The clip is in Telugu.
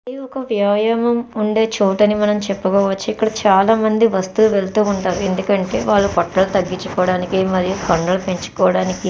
ఇది ఒక వ్యాయామం ఉండే చోటని మనం చెప్పవచ్చు. ఇక్కడ చాలామంది వస్తే వెళ్తూ ఉంటరు. ఎందుకంటే వాళ్ళు పొటలు తగ్గించుకోవడానికి మరియు కండలు పెంచుకోవడానికి --